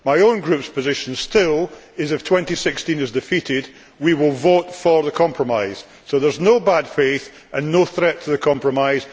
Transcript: My own group's position is still that, if 2016 is defeated, we will vote for the compromise so that there is no bad faith and no threat to the compromise.